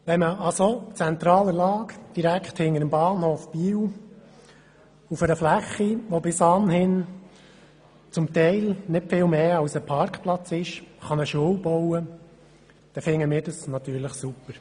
Wenn man an so zentraler Lage direkt hinter dem Bahnhof Biel auf einer Fläche, die bis anhin teilweise nicht viel mehr als ein Parkplatz ist, eine Schule bauen kann, dann finden wir das natürlich super.